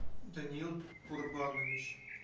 даниил курбанович